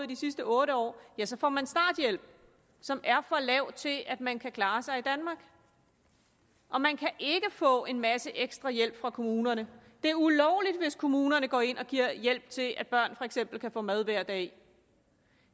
de sidste otte år så får man starthjælp som er for lav til at man kan klare sig i danmark og man kan ikke få en masse ekstra hjælp fra kommunerne det er ulovligt hvis kommunerne går ind og giver hjælp til at børn for eksempel kan få mad hver dag